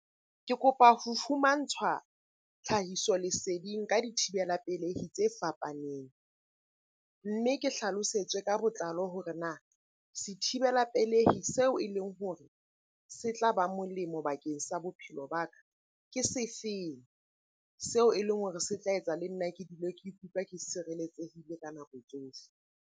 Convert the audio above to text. Ke kopa ho fumantshwa tlhahiso leseding ka dithibela pelehi tse fapaneng. Mme ke hlalosetswe ka botlalo hore na sethibela pelehi seo e leng hore se tla ba molemo bakeng sa bophelo ba ka ke se feng? Seo e leng hore se tla etsa le nna ke dule ke ikutlwa ke sireletsehile ka nako tsohle.